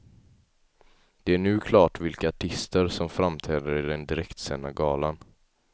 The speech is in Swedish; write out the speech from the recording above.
Det är nu klart vilka artister som framträder i den direktsända galan.